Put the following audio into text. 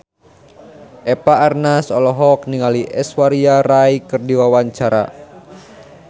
Eva Arnaz olohok ningali Aishwarya Rai keur diwawancara